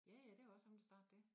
Ja ja det var også ham der startede dét